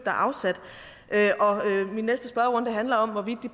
er afsat min næste spørgerunde handler om hvorvidt